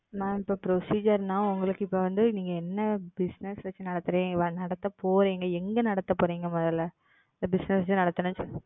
Ma'am இப்போ Procedure னா உங்களுக்கு இப்போ வந்து நீங்க என்ன Bussiness வச்சி நடத்த போறீங்க? எங்கே நடத்த போறீங்க? முதல்ல? இப்போ Bussiness ஏ நடத்துனா?